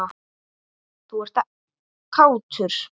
Og þú ert kátur.